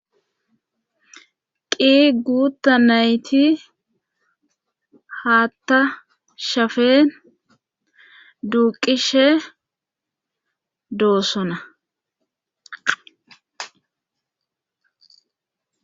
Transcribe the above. Qii guutta nayti haatta shafeen duuqishe doossona